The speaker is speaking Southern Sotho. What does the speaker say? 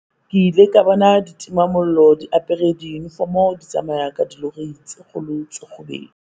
"Ke ile ka bona ditimamollo di apare diyunifomo di tsamaya ka dilori tse kgolo tse kgubedu."